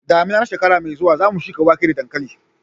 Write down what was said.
damina na shekara mai zuwa zamu shuka wake da dankali